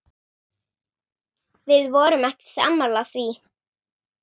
Við vorum ekki sammála því.